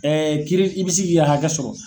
kiri i bi se k'i ka hakɛ sɔrɔ.